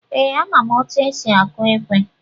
Ee, ama m etu esi akụ ekwe.